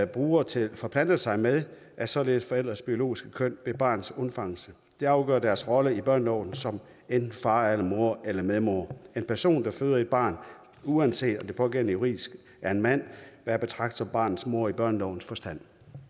bruger til at forplante sig med det er således forældres biologiske køn ved barnets undfangelse der afgør deres rolle i børneloven som enten far eller mor eller medmor en person der føder et barn uanset om pågældende juridisk er en mand vil at betragte som barnets mor i børnelovens forstand